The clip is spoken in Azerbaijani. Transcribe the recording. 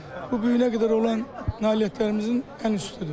Bu bu günə qədər olan nailiyyətlərimizin ən üstüdür.